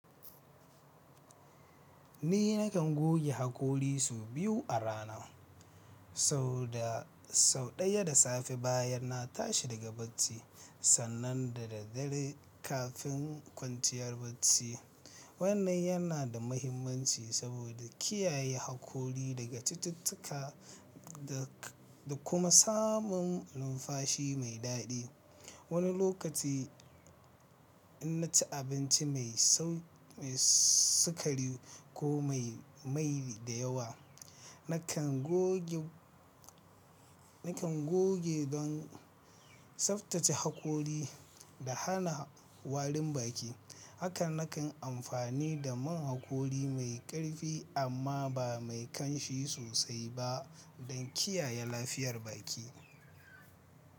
Ni nakan goge haƙori su biyu a rana. Sau ɗaya da safe bayan na tashi daga bacci, sannan da daddare kafin kwanciyar bacci. Wannan yana da mahimmanci, saboda kiyaye hakori daga cututtuka, da kuma samun numfashi mai daɗi. Wani lokaci in naci abinci mai sau, mai sukari ko mai, mai da yawa, nakan go nakan goge don, saftace hakori da hana warin baki. Haka nakan amfani da man hakori mai ƙarfi, amma ba mai kanshi sosai ba. Don kiyaye lafiyar baki.